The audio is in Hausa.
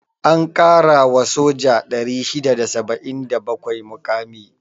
An ƙara wa soja 677 muƙami.